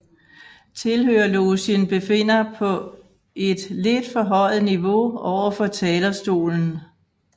Tilhørerlogen befinder på et lidt forhøjet niveau overfor talerstolen